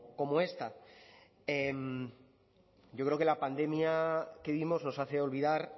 como esta yo creo que la pandemia que vivimos nos hace olvidar